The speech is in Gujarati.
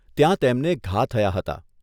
ત્યાં તેમને ઘા થયા હતા.